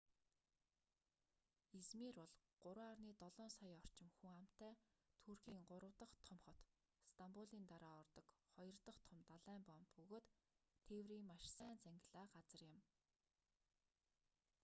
измир бол 3,7 сая орчим хүн амтай туркийн гурав дахь том хот стамбулын дараа ордог хоёр дахь том далайн боомт бөгөөд тээврийн маш сайн зангилаа газар юм